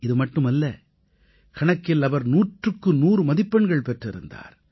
இதுமட்டுமல்ல கணக்கில் அவர் நூற்றுக்குநூறு மதிப்பெண்கள் பெற்றிருந்தார்